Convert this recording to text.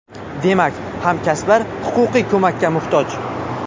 Demak, hamkasblar huquqiy ko‘makka muhtoj.